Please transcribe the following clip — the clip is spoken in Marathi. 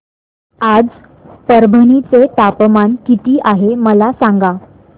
आज परभणी चे तापमान किती आहे मला सांगा